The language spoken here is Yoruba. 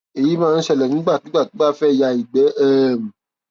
èyí máa ń ṣẹlẹ nígbàkigbà tó bá fẹ ya ìgbẹ um